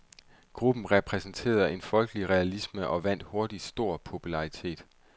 Gruppen repræsenterede en folkelig realisme og vandt hurtigt stor populartitet.